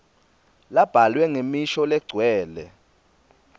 labhalwe ngemisho legcwele